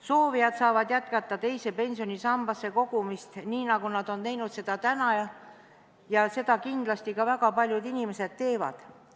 Soovijad saavad jätkata teise pensionisambasse kogumist, nii nagu nad on teinud seni, ja seda kindlasti ka väga paljud inimesed teevad.